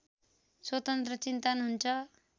स्वतन्त्र चिन्तन हुन्छ